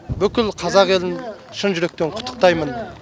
бүкіл қазақ елін шын жүректен құттықтаймын